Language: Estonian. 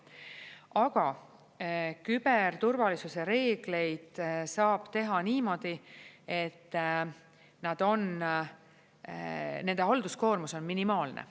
Aga küberturvalisuse reegleid saab teha niimoodi, et nad on, nende halduskoormus on minimaalne.